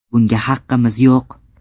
Bunga haqqimiz yo‘q.